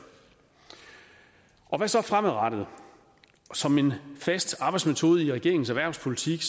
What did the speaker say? hvad så fremadrettet som en fast arbejdsmetode i regeringens erhvervspolitik